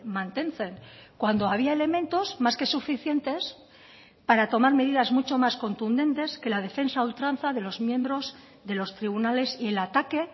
mantentzen cuando había elementos más que suficientes para tomar medidas mucho más contundentes que la defensa a ultranza de los miembros de los tribunales y el ataque